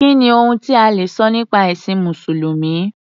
Kí ni ohun ta lè sọ nípa ẹ̀sìn Mùsùlùmí?